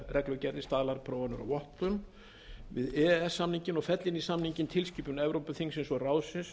öðrum viðauka við e e s samninginn og fella inn í samninginn tilskipun evrópuþingsins og ráðsins tvö þúsund og